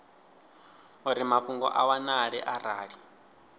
uri mafhungo a wanale arali